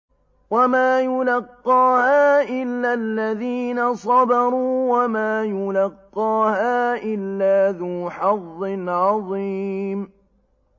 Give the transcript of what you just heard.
وَمَا يُلَقَّاهَا إِلَّا الَّذِينَ صَبَرُوا وَمَا يُلَقَّاهَا إِلَّا ذُو حَظٍّ عَظِيمٍ